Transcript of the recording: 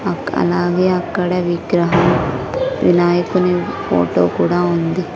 అక్-- అలాగే అక్కడ విగ్రహం వినాయకుని ఫోటో కూడా ఉంది.